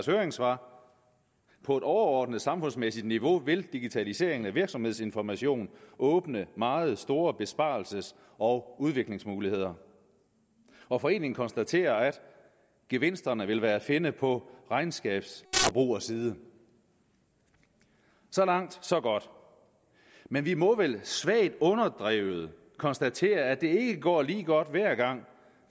høringssvar på et overordnet samfundsmæssigt niveau vil digitaliseringen af virksomhedsinformation åbne meget store besparelses og udviklingsmuligheder og foreningen konstaterer gevinsterne vil være at finde på regnskabsforbrugerside så langt så godt men vi må vel svagt underdrevet konstatere at det ikke går lige godt hver gang